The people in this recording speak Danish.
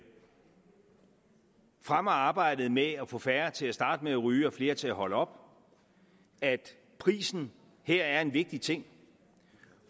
fremmer arbejdet med at få færre til at starte med ryge og flere til at holde op at prisen her er en vigtig ting